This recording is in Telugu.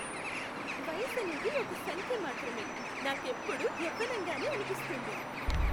వయసనేది ఒక సంఖ్య మాత్రమే. నాకెప్పుడూ యవ్వనంగానే అనిపిస్తుంది.